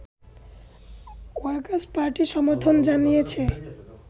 workers party সমর্থন জানিয়েছে